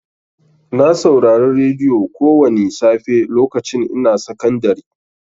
Na saurari radiyo kowani safe lokacin ina sakandari.